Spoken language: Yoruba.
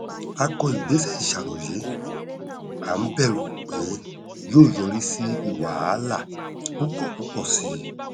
a kọ ìgbésẹ ìṣàróyé à n bẹrù pé yóò yọrí sí wàhálà púpọ púpọ sí i